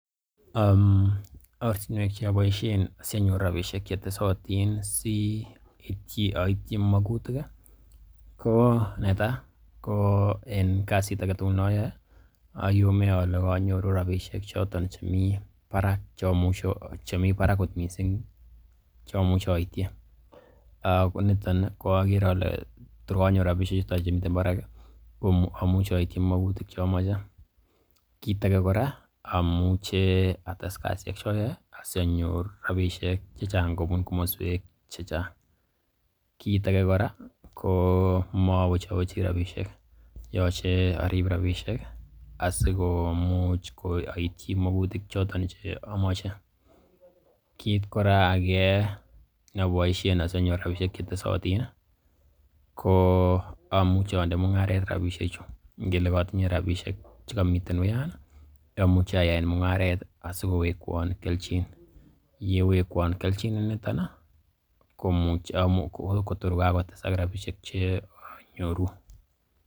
Ortinwek che aboishen asianyor rabishek che tesotin asioityi magutik ko netai ko en kasit age tugul ne oyoe oyome oger ole konyor rabishek choto chemi barak kot mising, che amuche oityi. Ko niton agere ole tor konyoru rabishek chuton chemiten barak ko amuche oityi magutik che amoche. Kiit age ko amuche ates kasishek che oyoe asianyor rabishek che chang kobun komoswek che chang. Kiit age ko mowechocwechi rabishek, yoche arib rabishek asikomuch aityi magutik choton che amache. Kiit kora age ne aboisien asianyor rabishek che tesotin ko amuche onde mung'aret rabishek chuto. Ngele kotinye rabishek che komiten uyan amuche ayaen mung'aret asikowekwon kelchin, ye wekwon kelchin inito komuche kotor ko kagotesak rabishek che anyoru.